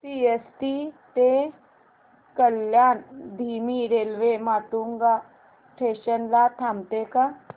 CST ते कल्याण धीमी railway Matunga station ला थांबते का